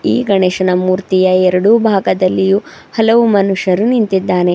ಈ ಗಣೇಶನ ಮೂರ್ತಿಯ ಎರಡು ಭಾಗದಲ್ಲಿಯೂ ಹಲವು ಮನುಷ್ಯರು ನಿಂತಿದ್ದಾನೆ.